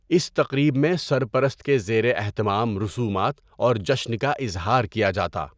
اس تقریب میں سرپرست کے زیر اہتمام رسومات اور جشن کا اظہار کیا جاتا۔